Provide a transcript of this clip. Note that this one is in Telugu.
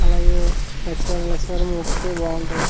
అలాగే ప్రతీసారి లక్ష్మి వారం మూక్కితే బాగుంటది.